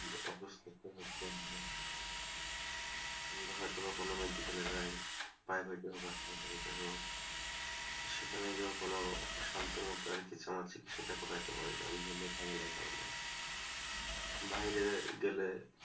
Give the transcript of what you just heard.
আমরা হয়তো কখনো মেডিক্যালে যাই, বা হয়তো আবার সেখানে গিয়েও কোনো শান্তি মতো আমার চিকিৎসাটা করাতে পারি না, আমি এই জন্য যাই না এই কারণে, বাইরে গেলে,